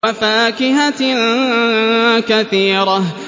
وَفَاكِهَةٍ كَثِيرَةٍ